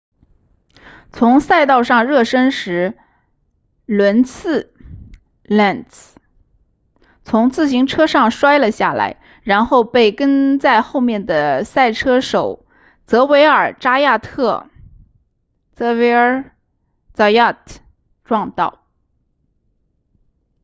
在赛道上热身时伦茨 lenz 从自行车上摔了下来然后被跟在后面的赛车手泽维尔扎亚特 xavier zayat 撞到